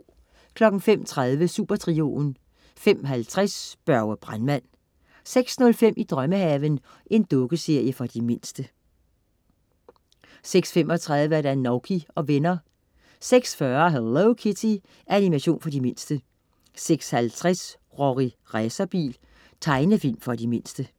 05.30 Supertrioen 05.50 Børge brandmand 06.05 I drømmehaven. Dukkeserie for de mindste 06.35 Nouky og venner 06.40 Hello Kitty. Animation for de mindste 06.50 Rorri Racerbil. Tegnefilm for de mindste